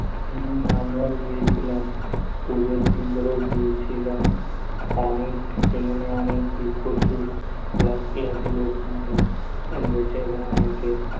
হম আমরাও গিয়েছিলাম, পূজোর দিনেও গিয়েছিলাম, সেখানে অনেক ভীড়, প্রচুর লাখ লাখ মানুষ রয়েছে এবং অনেকে